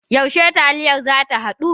Yaushe taliya zata hadu?